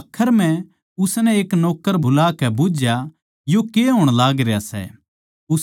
आखर म्ह उसनै एक नौक्कर बुलाकै बुझ्झया यो के होण लाग रह्या सै